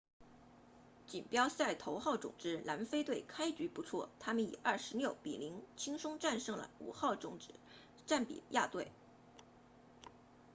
锦标赛头号种子南非队开局不错他们以26 00轻松战胜了5号种子赞比亚队